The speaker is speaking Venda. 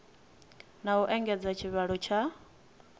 na u engedza tshivhalo tsha